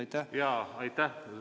Aitäh!